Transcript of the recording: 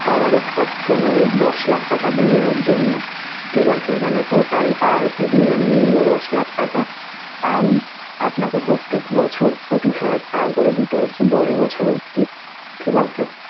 coverage পাচ্ছেন ঐ দশ লাখ টাকা দুইজনের জন্যে, ঠিক আছে! মানে total টা আরকি দুইজন মিলিয়ে দশ লাখ টাকা and আপনাকে প্রত্যেক বছর পঁচিশ হাজার টাকা করে দিতে হচ্ছে দশ বছর অবধি, ঠিক আছে sir?